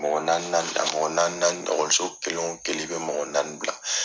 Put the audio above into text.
Mɔgɔ naani naani a mɔgɔ naani naani ɔkɔliso kelen o kelen i bɛ mɔgɔ naani bila.